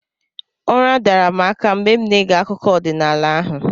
Ụra dara m aka mgbe m na-ege akụkọ ọdịnala ahụ